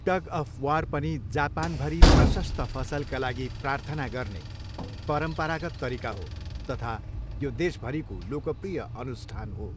Tug of war पनि जापानभरि प्रशस्त फसलका लागि प्रार्थना गर्ने परम्परागत तरिका हो तथा यो देशभरिको लोकप्रिय अनुष्ठान हो।